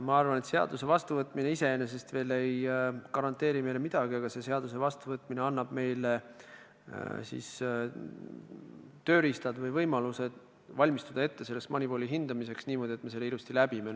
Ma arvan, et seaduse vastuvõtmine iseenesest ei garanteeri meile veel midagi, küll aga annab selle vastuvõtmine meile tööriistad või võimalused valmistuda MONEYVAL-i hindamiseks ette niimoodi, et me selle ilusti läbiksime.